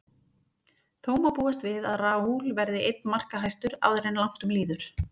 Þó má búast við að Raul verði einn markahæstur áður en langt um líður.